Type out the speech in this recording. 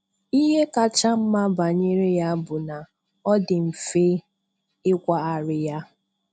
Ihe kacha mma banyere ya bụ na ọ dị mfe ikwagharị ya.